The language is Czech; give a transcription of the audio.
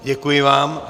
Děkuji vám.